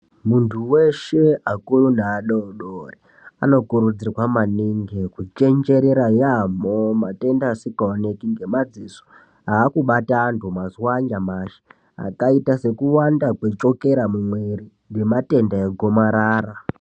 Munthu weshee, akuru neadoodori, anokurudzirwa maningi kuchenjerera yaampho, matenda asikaoneki ngemadziso, aakubata anthu mazuwa anyamashi, akaita sekuwanda kwechukera mumwiri, nematenda egomarara.